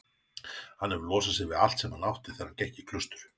Hann hefur losað sig við allt sem hann átti þegar hann gekk í klaustur.